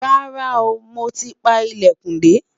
rárá o, mọ tí pá ilẹkùn de